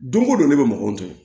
Don ko don ne bɛ mɔgɔw tɔmɔ